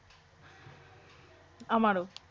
আমারও